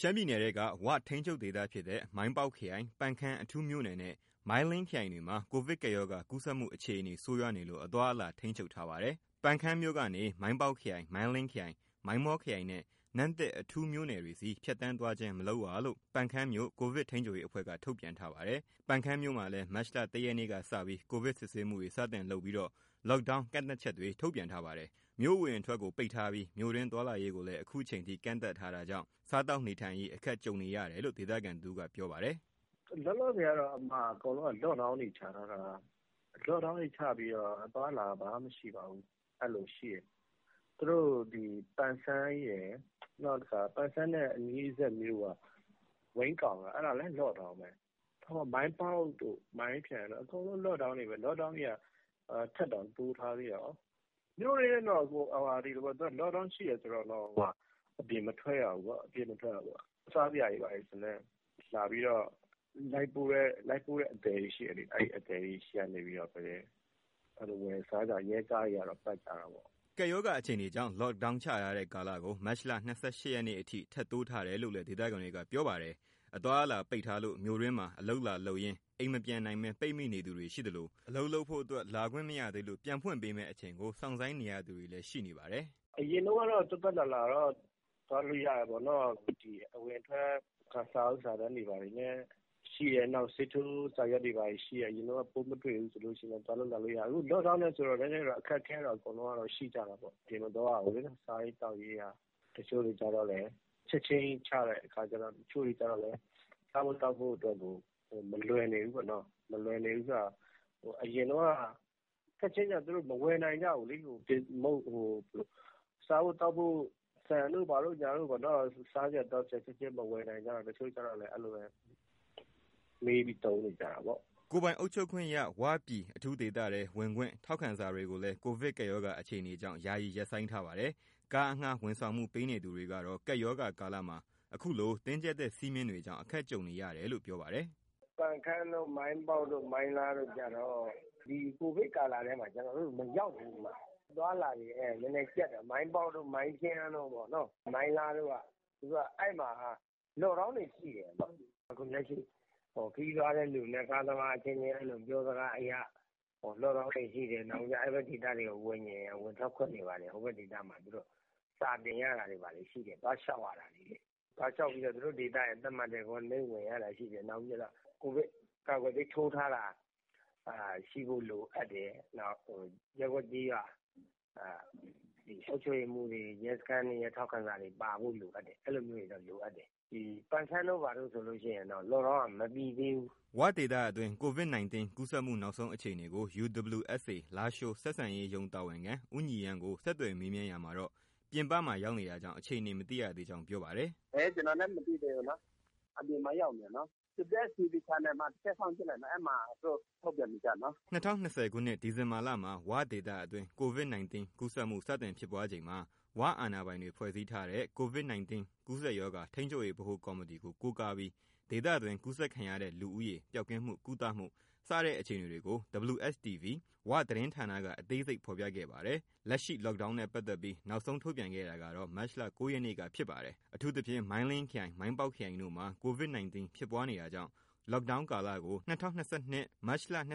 ရှမ်းပြည်နယ်ထဲက ဝ ထိန်းချုပ်ဒေသဖြစ်တဲ့ မိုင်းပေါက်ခရိုင်၊ ပန်ခမ်းအထူးမြို့နယ်နဲ့ မိုင်းလင်းခရိုင်တွေမှာ ကိုဗစ်ကပ်ရောဂါ ကူးစက်မှုအခြေအနေ ဆိုးရွားနေလို့ အသွားအလာထိန်းချုပ်ထားပါတယ်။ ပန်းခမ်းမြို့ကနေ မိုင်းပေါက်ခရိုင်၊ မိုင်းလင်းခရိုင်၊ မိုင်းမောခရိုင်နဲ့ နမ့်တစ်အထူးမြို့နယ်တွေဆီ ဖြတ်သန်းသွားခြင်း မလုပ်ရလို့ ပန်ခမ်းမြို့ ကိုဗစ်ထိန်းချုပ်ရေးအဖွဲ့က ထုတ်ပြန်ထားပါတယ်။ ပန်ခမ်းမြို့မှာလည်း မတ်လ ၁ ရက်ကစပြီး ကိုဗစ်စစ်ဆေးမှုတွေ စတင်လုပ်ပြီး Lockdown ကန့်သတ်ချက်တွေ ထုတ်ပြန်ထားပါတယ်။ မြို့အဝင်အထွက် ပိတ်ထားပြီး မြို့တွင်းသွားလာရေးကိုလည်း အခုချိန်ထိ ကန့်သတ်ထားတာကြောင့် စားသောက်နေထိုင်ရေး အခက်ကြုံနေတယ်လို့ ဒေသခံတဦးက ပြောပါတယ်။ “လောလောဆယ်ကတော့ အကုန်လုံးက လော့ဒေါင်းတွေချပြီးတော့ အသွားအလာဘာမှ မရှိပါဘူး။ ဒီ ပန်ဆန်းရယ်၊ နောက်တခါ ပန်ဆန်းရဲ့ အနီးမြို့က ဝိန်းကောင်လည်း လော့ဒေါင်းပဲ။ မိုင်းပေါက်တို့၊ မိုင်းခရိုင်တို့ အကုန်လုံး လော့ဒေါင်းတွေပဲ။ လော့ဒေါင်းတွေက ထပ်တောင်တိုးထားသေးတယ်။ မြို့တွင်းတော့ သူကလော့ဒေါင်းရှိတယ် ဆိုရင်တော့ အပြင်မထွက်ရဘူးပေါ့။ စားစရာတွေ ဘာတွေဆိုရင်လည်း လာပြီးတော့ လိုက်ပို့တဲ့အသယ်တွေ ရှိတယ်လေ။ အဲဒီအသယ်တွေဆီကနေပဲ ဝယ်စားရတာပေါ့။ ရဲကားတွေကတော့ ပတ်ကြတာပေါ့။” ကပ်ရောဂါအခြေအနေကြောင့် လော့ဒေါင်းချထားတဲ့ ကာလကို မတ်လ ၂၈ ရက်နေ့အထိ ထပ်တိုးထားတယ်လို့လည်း ဒေသခံတွေက ပြောပါတယ်။ အသွားအလာပိတ်ထားလို့ မြို့တွင်းမှာအလုပ်လာလုပ်ရင်း အိမ်မပြန်နိုင်ဘဲ ပိတ်မိသူတွေရှိနေသလို၊ အလုပ်လုပ်ဖို့အတွက် လာခွင့်မရသေးလို့ ပြန်ဖွင့်ပေးမယ့်အချိန်ကို စောင့်ဆိုင်းနေရသူတွေလည်း ရှိနေပါတယ်။ “အရင်တုန်းကတော့ သွားသွားလာလာတော့ သွားလို့ရတာပေါ့နော်။ ဒီ အဝင်အထွက် စာအုပ်စာတမ်းတွေ ဘာတွေလည်းရှိတယ်၊ ဆေးထိုးစာရွက်တွေလည်း ရှိတယ်၊ ပိုးမတွေ့ဘူးဆိုရင် သွားလို့လာလို့ရတယ်။ အခု လော့ဒေါင်းနဲ့ဆိုတော့ အခက်အခဲကတော့ အားလုံးရှိကြတာပေါ့။ အပြင်မသွားရဘူးလေ။ စားရေးသောက်ရေးက တချို့တွေကျတော့လည်း လော့ဒေါင်းချက်ချင်းကြီး ချတဲ့အခါကျတော့ စားဖို့သောက်ဖို့ကို မလွယ်နေဘူးပေါ့နော်။ မလွယ်နေဘူးဆိုတာ ချက်ချင်းချတော့ သူတို့မဝယ်နိုင်ကြဘူးလေ။ စားဖို့သောက်ဖို့ ဆန်တို့ ဘာတို့ပေါ့နော်။ စားစရာ သောက်စရာချက်ချင်း မဝယ်နိုင်ကြတော့ တချို့တွေကျတော့လည်း မှေးပြီးသုံးနေကြတာပေါ့။” ကိုယ်ပိုင်အုပ်ချုပ်ခွင့်ရ ဝ ပြည်အထူးဒေသထဲ ဝင်ခွင့် ထောက်ခံစာတွေကိုလည်း ကိုဗစ်ကပ်ရောဂါ အခြေအနေကြောင့် ယာယီရပ်ဆိုင်းပါတယ်။ ကားအငှားဝန်ဆောင်မှု ပေးနေသူတွေကတော့ ကပ်ရောဂါကာလမှာ အခုလိုတင်းကြပ်ထားတဲ့ စည်းမျဉ်းတွေကြောင့် အခက်ကြုံနေတယ်လို့ ပြောပါတယ်။ “ပန်ခမ်း၊ မိုင်းပေါက်၊ မိုင်းလားတို့ကျတော့ ဒီကိုဗစ်ကာလထဲမှာ ကျနော်တို့ မရောက်ဘူး။ အသွားအလာတွေက နည်းနည်းကျပ်တယ်။ မိုင်းပေါက်တို့၊ မိုင်းခရိုင်တို့၊ မိုင်းလားတို့က လော့ဒေါင်းတွေရှိတယ်။ အခုလက်ရှိ ခရီးသွားတဲ့လူနဲ့ ကားသမားအချင်းချင်း ပြောစကားအရ လော့ဒေါင်းတွေရှိတယ်။ နောက်ပြီးတော့ အဲဒီဒေသမှာ ဝင်ထွက်ခွင့်တွေက စာတင်ရတာတွေ၊ သွားလျှောက်ရတာတွေ ရှိတယ်။ သွားလျှောက်ပြီးတော့ သူတို့ဒေသက သတ်မှတ်တဲ့ Quarantine ဝင်ရတာရှိတယ်။ ကိုဗစ်ကာကွယ်ဆေး ထိုးထားတာ ရှိဖို့လိုအပ်တယ်။ ရပ်ကွက်၊ ကျေးရွာ အုပ်ချုပ်ရေးမှူးတွေ၊ ရဲစခန်းတွေရဲ့ ထောက်ခံစာတွေပါဖို့ အဲလိုမျိုးတွေတော့ လိုအပ်တယ်။ ဒီပန်ခမ်းတို့ ဘာတို့ဆိုရင်တော့ လော့ဒေါင်းက မပြေသေးဘူး။” ၀ ဒေသအတွင်း Covid 19 ကူးစက်မှုနောက်ဆုံးအခြေအနေကို UWSA လားရှိုးဆက်ဆံရေးရုံး တာဝန်ခံ ဦးညီရန်းကို ဆက်သွယ်မေးမြန်းရာမှာတော့ ပြင်ပမှာ ရောက်နေတာကြောင့် အခြေအနေ မသိရကြောင်း ပြောပါတယ်။ “ ကျနော်လည်း မသိသေးဘူးနော်။ အပြင်မှာ ရောက်နေတယ်နော်။ WSTV မှာ တစ်ချက် စောင့်ကြည့် လိုက်နော်။ အဲဒီမှာ သူတို့ ထုတ်ပြန်နေကျ နော်။” ၂၀၂၀ခုနှစ် ဒီဇင်ဘာလမှာ ဝဒေသအတွင်း Covid 19 ကူးစက်မှု စတင်ဖြစ်ပွားချိန်မှာ ဝအာဏာပိုင်တွေ ဖွဲ့စည်းထားတဲ့ Covid 19 ကူးစက်ရောဂါ ထိန်းချုပ်ရေးဗဟိုကော်မတီ ကို ကိုးကားပြီး ဒေသတွင်း ကူးစက်ခံရတဲ့ လူဦးရေ၊ ပျောက်ကင်းမှု၊ ကုသမှု စတဲ့အခြေအနေတွေကို WSTV ၀ သတင်းဌာနက အသေးစိတ်ဖော်ပြခဲ့ပါတယ်။ လက်ရှိ Lockdown နဲ့ပါတ်သက်ပြီး နောက်ဆုံးထုတ်ပြန်ခဲ့တာကတော့ မတ်လ ၉ ရက်နေ့က ဖြစ်ပါတယ်။ အထူးသဖြင့် မိုင်းလင်းခရိုင်နှင့် မိုင်းပေါက်ခရိုင်တို့မှာ Covid 19 ဖြစ်ပွားနေတာကြောင့် lockdown ကာလကို ၂၀၂၂ မတ်လ၊ ၂၁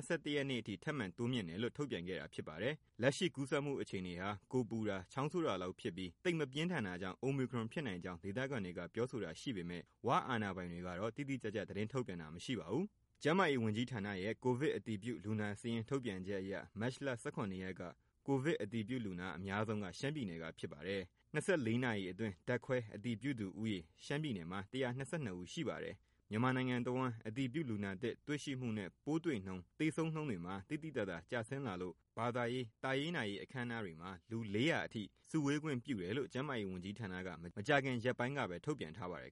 နေ့အထိ ထပ်မံတိုးမြှင့်တယ်လို့ ထုတ်ပြန်ခဲ့တာဖြစ်ပါတယ်။ လက်ရှိကူးစက်မှုအခြေအနေဟာ ကိုယ်ပူတာ၊ ချောင်းဆိုးတာလောက်ဖြစ်ပြီး သိပ်မပြင်းထန်တာကြောင့် Omicron ဖြစ်နိုင်ကြောင်း ဒေသခံတွေက ပြောဆိုတာ ရှိပေမဲ့ ၀ အာဏာပိုင်တွေကတော့ တိတိကျကျ သတင်း ထုတ်ပြန်တာမရှိပါဘူး။ ကျန်းမာရေးဝန်ကြီးဌာနရဲ့ ကိုဗစ်အတည်ပြုလူနာစာရင်းထုတ်ပြန်ချက်အရ မတ်လ ၁၇ ရက်က ကိုဗစ် အတည်ပြုလူနာအများဆုံးက ရှမ်းပြည်နယ်က ဖြစ်ပါတယ်။ ၂၄ နာရီအတွင်း ဓာတ်ခွဲအတည်ပြုသူဦးရေ ရှမ်းပြည်နယ်မှာ ၁၂၂ ဦး ရှိပါတယ်။ မြန်မာနိုင်ငံတဝန်း အတည်ပြုလူနာသစ် တွေ့ရှိမှုနဲ့ ပိုးတွေ့နှုန်း၊ သေဆုံးနှုန်းတွေမှာ သိသိသာသာ ကျဆင်းလာလို့ ဘာသာရေး၊ သာရေးနာရေး အခမ်းအနားတွေမှာ လူ ၄ဝဝ အထိ စုဝေးခွင့်ပြုတယ်လို့ ကျန်းမာရေးဝန်ကြီးဌာနက မကြာခင်ရက်ပိုင်းကပဲ ထုတ်ပြန်ထားပါတယ်